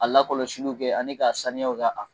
A lakɔlɔsiliw kɛ ani ka sanuyaw